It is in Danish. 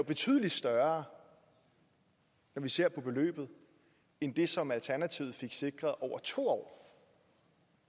betydelig større når vi ser på beløbet end det som alternativet fik sikret over to år